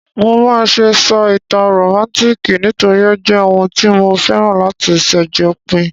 Mo máà se sọ ìtàn rómántikì nítorí o jẹ oun tí mo féràn láti sàjopín